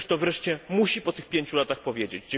Ktoś to wreszcie musi, po tych pięciu latach, powiedzieć.